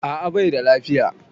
A'a baida lafiya